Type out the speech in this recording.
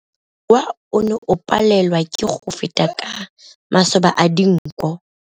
Mowa o ne o palelwa ke go feta ka masoba a dinko.